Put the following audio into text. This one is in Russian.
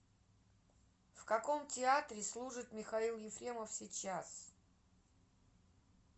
в каком театре служит михаил ефремов сейчас